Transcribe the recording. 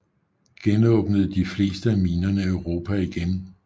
Genåbnede de fleste af minerne Europa igen